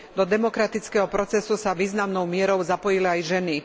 Do demokratického procesu sa významnou mierou zapojili aj ženy.